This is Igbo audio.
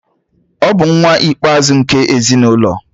ọ bu nwa ikpe-azu nke ezi n'ulo